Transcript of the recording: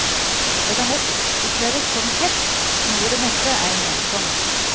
Det kan lett oppleves som hets, noe det neppe er ment som.